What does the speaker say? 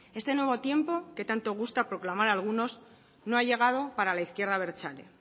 este nuevo tiempo que tanto gusta proclamar a algunos no ha llegado para la izquierda abertzale